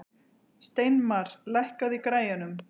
Steinmar, lækkaðu í græjunum.